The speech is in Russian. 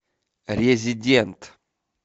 резидент